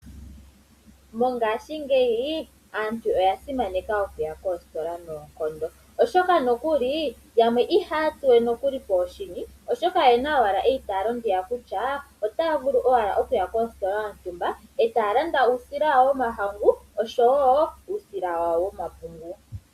Mongaashingeyi aantu oya simaneka okuya koostola noonkondo oshoka nokuli yamwe ihaya tsuwe poshini oshoka oyena eyitaalo ndiya kutya otaya vulu okuya koostola yontumba etaya landa uusila wawo womahangu oshowo uusila wepungu.